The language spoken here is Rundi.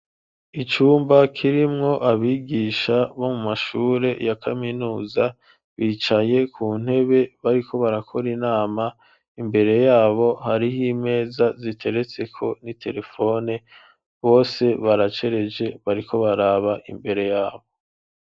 Icumba kirimwo abigisha bo mu mashure ya kaminuza bicaye ku ntebe, bariko barakora inama, imbere y'abo hariho imeza ziteretseko n'iterefone, bose baracereje bariko baraba imbere y'abo.